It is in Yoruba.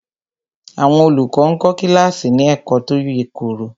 Àwọn olùkọ́ ń kọ́ kíláàsì ní ẹ̀kọ́ tó yèkoro